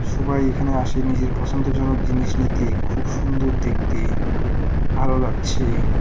সবাই এখানে আসে নিজের পছন্দজনক জিনিস নিতে খুব সুন্দর দেখতে ভালো লাগছে।